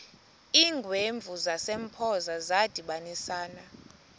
iingwevu zasempoza zadibanisana